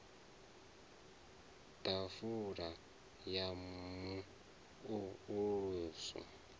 ḓafula ya mu o ulusi